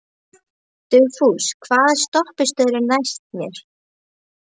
Dugfús, hvaða stoppistöð er næst mér?